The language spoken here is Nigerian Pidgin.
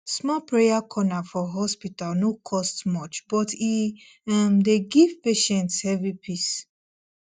small prayer corner for hospital no cost much but e um dey give patients heavy peace